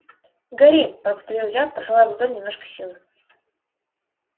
гори повторил я посылая в ладонь немножко силы